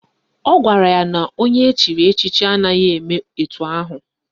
Ọ gwara ya na onye echiri echichi anaghị eme etu ahụ